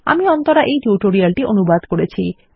আমি অন্তরা এই টিউটোরিয়াল টি অনুবাদ করেছি